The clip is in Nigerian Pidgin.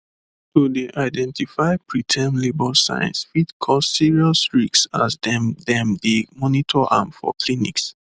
to dey identify preterm labour signs fit cause serious risks as dem dem dey monitor am for clinics